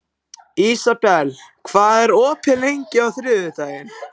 Ísabel, hvað er opið lengi á þriðjudaginn?